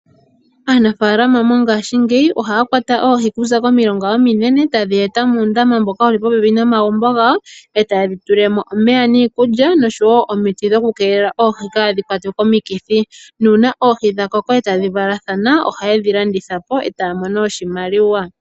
Aanafaalama mongashiingeyi ohaya kwata oohi okuza komilonga ominene taye dhi eta muundama mboka wuli popepi nomagumbo gawo e taye dhi tulile mo omeya niikulya nosho wo omiti dhokukeelela oohi kaadhikwatwe komikithi, nuuna oohi dha koko e tadhi valathatha oha ye dhi landithapo e taya mono oshimaliwa.